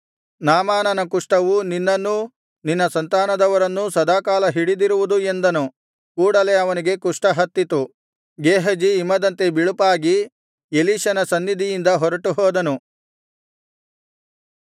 ನಾಮಾನನ ಕುಷ್ಠವು ನಿನ್ನನ್ನೂ ನಿನ್ನ ಸಂತಾನದವರನ್ನೂ ಸದಾಕಾಲ ಹಿಡಿದಿರುವುದು ಎಂದನು ಕೂಡಲೆ ಅವನಿಗೆ ಕುಷ್ಠ ಹತ್ತಿತು ಗೇಹಜಿ ಹಿಮದಂತೆ ಬಿಳುಪಾಗಿ ಎಲೀಷನ ಸನ್ನಿಧಿಯಿಂದ ಹೊರಟುಹೋದನು